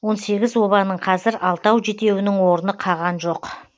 он сегіз обаның қазір алтау жетеуінің орны қаған жоқ